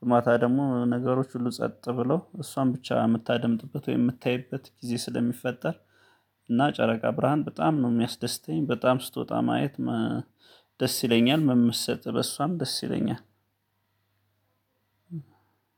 በማታ ደግሞ ነገሮች ሁሉ ጸጥ ብለው እሷን ብቻ የምታደምጥበት ወይ የምታይበት ጊዜ ስለሚፈጠር። እና ጨረቃ ብርሃን በጣም ነው የሚያስደስተኝ በጣም ስትወጣ ማየት፤። ደስ ይለኛል መመሰጥ በሷም ደስ ይለኛል፤።